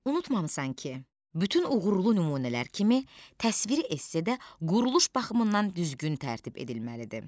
Unutmamısan ki, bütün uğurlu nümunələr kimi təsviri essedə quruluş baxımından düzgün tərtib edilməlidir.